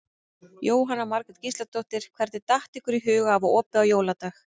Jóhanna Margrét Gísladóttir: Hvernig datt ykkur í hug að hafa opið á jóladag?